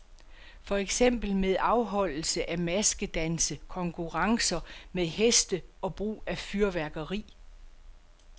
For eksempel med afholdelse af maskedanse, konkurrencer med heste og brug af fyrværkeri.